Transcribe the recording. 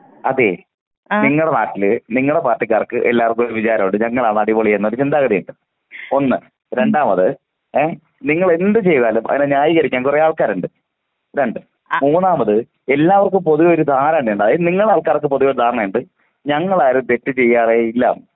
അതെ നിങ്ങടെ നാട്ടിലെ നിങ്ങടെ പാർട്ടിക്കാർക്ക് എല്ലാർക്കും ഒരു വിചാരമുണ്ട് ഞങ്ങളാണ് അടിപൊളി എന്ന ഒരു ചിന്താഗതിയുണ്ട് ഒന്ന് രണ്ടാമത് ഏ നിങ്ങൾ എന്ത് ചെയ്താലും അതിനെ ന്യായീകരിക്കാൻ കുറെ ആൾക്കാരുണ്ട് രണ്ട് മൂന്നാമത് എല്ലാവർക്കും പൊതുവേ ഒരു ധാരണയുണ്ട് അത് നിങ്ങളെ ആൾക്കാർക്ക് പൊതുവേ ഒരു ധാരണയുണ്ട് ഞങ്ങൾ ആരും തെറ്റ് ചെയ്യാറേയില്ല.